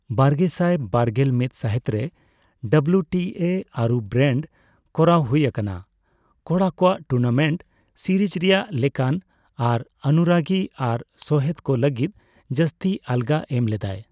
ᱵᱟᱨᱜᱮᱥᱟᱭ ᱵᱟᱨᱜᱮᱞ ᱢᱤᱫ ᱥᱟᱹᱦᱤᱛᱨᱮ, ᱰᱟᱵᱞᱩ ᱴᱤ ᱮ ᱟᱹᱨᱩ ᱵᱨᱮᱱᱰ ᱠᱚᱨᱟᱣ ᱦᱳᱭ ᱟᱠᱟᱱᱟ ᱾ ᱠᱚᱲᱟ ᱠᱳᱣᱟ ᱴᱩᱨᱱᱟᱢᱮᱱᱴ ᱥᱤᱨᱤᱡ ᱨᱮᱭᱟᱜ ᱞᱮᱠᱟᱱ ᱟᱨ ᱚᱱᱩᱨᱟᱜᱤ ᱟᱨ ᱥᱚᱦᱮᱫ ᱠᱚ ᱞᱟᱹᱜᱤᱫ ᱡᱟᱹᱥᱛᱤ ᱟᱞᱜᱟ ᱮᱢ ᱞᱮᱫᱟᱭ ᱾